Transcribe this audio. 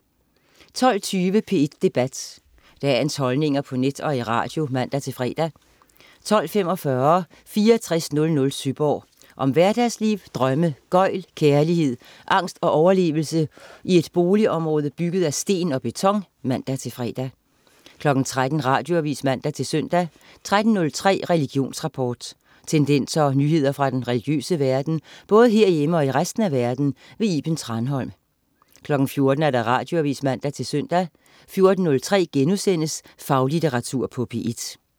12.20 P1 Debat. Dagens holdninger på net og i radio (man-fre) 12.45 6400 Sønderborg. Om hverdagsliv, drømme, gøgl, kærlighed, angst og overlevelse i et boligområde bygget af sten og beton (man-fre) 13.00 Radioavis (man-søn) 13.03 Religionsrapport. Tendenser og nyheder fra den religiøse verden, både herhjemme og i resten af verden. Iben Thranholm 14.00 Radioavis (man-søn) 14.03 Faglitteratur på P1*